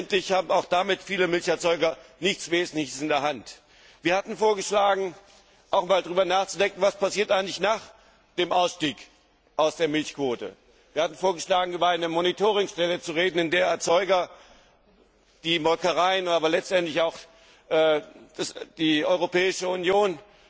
Letztendlich haben auch damit viele Milcherzeuger nichts Wesentliches in der Hand. Wir hatten vorgeschlagen, auch einmal darüber nachzudenken, was eigentlich nach dem Ausstieg aus der Milchquote passiert. Wir hatten vorgeschlagen, über eine Monitoringstelle zu reden, in der die Erzeuger, die Molkereien, aber letztendlich auch die Europäische